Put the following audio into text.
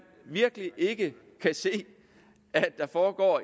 virkelig ikke kan se at der foregår